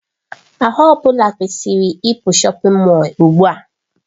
Ahụ ọ bụla kwesịrị ịpụ shọpin Mọll ugbu a!